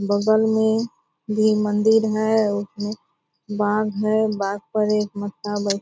बगल में भी मंदिर है | उसमे बाग है बाग पर एक बैठी --